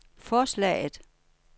forslaget